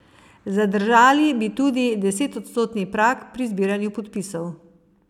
Zadržali bi tudi desetodstotni prag pri zbiranju podpisov.